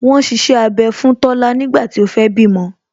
Wọn ṣiṣẹ́ abẹ fún Tola nígbà tí ó fẹ́ bímọ